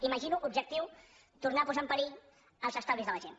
imagino objectiu tornar a po·sar en perill els estalvis de la gent